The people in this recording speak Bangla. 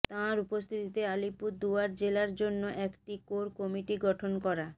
তাঁর উপস্থিতিতে আলিপুরদুয়ার জেলার জন্য একটি কোর কমিটি গঠন করা